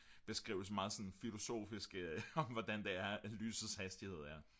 beskrivelse meget sådan filosofisk om hvordan lysets hastighed er